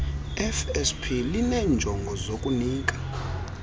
fsp lineenjongo zokunika